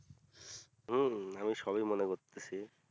হুম আমি সবই মনে করতেছি